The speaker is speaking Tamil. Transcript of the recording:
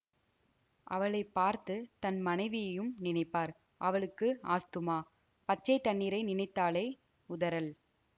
அவளை பார்த்து தன் மனைவியையும் நினைப்பார் அவளுக்கு ஆஸ்த்துமா பச்சை தண்ணீரை நினைத்தாலே உதறல்